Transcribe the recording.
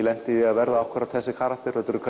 lent í því að verða þessi karakter það eru